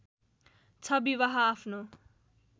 ६ विवाह आफ्नो